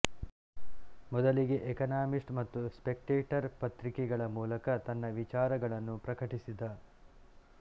ಮೊದಲಿಗೆ ಎಕಾನಮಿಸ್ಟ್ ಮತ್ತು ಸ್ಪೆಕ್ಟೇಟರ್ ಪತ್ರಿಕೆಗಳ ಮೂಲಕ ತನ್ನ ವಿಚಾರಗಳನ್ನು ಪ್ರಕಟಿಸಿದ